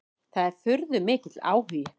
Það er furðumikill áhugi.